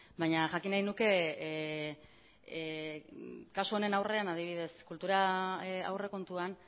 baina jakin nahi nuke kasu honen aurrean adibidez kultura aurrekontuan